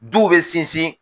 Du bɛ sinsin